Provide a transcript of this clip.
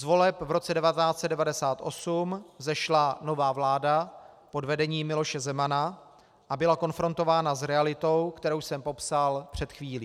Z voleb v roce 1998 vzešla nová vláda pod vedením Miloše Zemana a byla konfrontována s realitou, kterou jsem popsal před chvílí.